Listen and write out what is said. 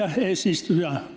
Hea eesistuja!